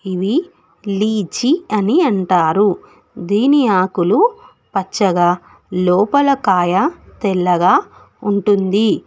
ఇవి లీజి అని అంటారు దీని ఆకులు పచ్చగా లోపల కాయ తెల్లగా ఉంటుంది.